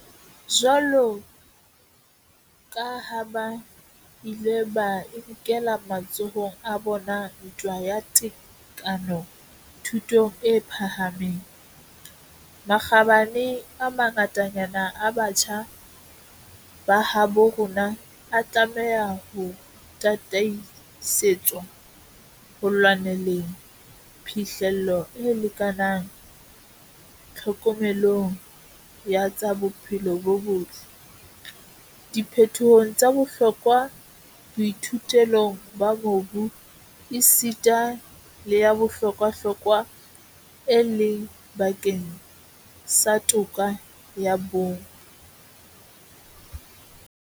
Jwaloka ha ba ile ba e nkela matsohong a bona ntwa ya tekano thutong e phahameng, makgabane a mangatanyana a batjha ba habo rona a tlameha ho tataisetswa ho lwaneleng phihlello e lekanang tlhokomelong ya tsa bophelo bo botle, diphetohong tsa bohlokwa boithuelong ba mobu, esita le ya bohlokwahlokwa, e leng bakeng sa toka ya bong.